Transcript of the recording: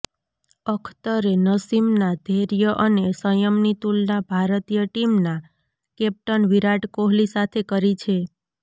અખ્તરે નસીમના ધૈર્ય અને સંયમની તુલના ભારતીય ટીમના કેપ્ટન વિરાટ કોહલી સાથે કરી છે